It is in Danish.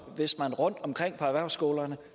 hvis man rundtomkring på erhvervsskolerne